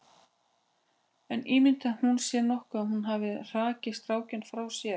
En ímyndar hún sér nokkuð að hún hafi hrakið strákinn frá sér?